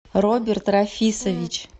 роберт рафисович